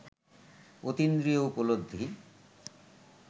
অতীন্দ্রিয় উপলব্ধি